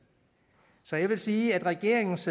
så jeg vil sige at regeringens